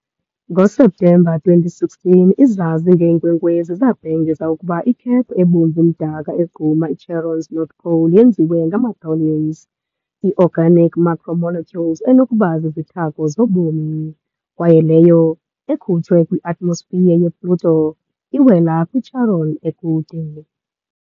NgoSeptemba 2016, izazi ngeenkwenkwezi zabhengeza ukuba i-cap ebomvu-mdaka egquma i-Charon's North pole yenziwe ngama- tholins, i- organic macromolecules enokuba zizithako zobomi, kwaye leyo, ekhutshwe kwi -atmosphere ye-Pluto, iwela kwi-Charon ekude.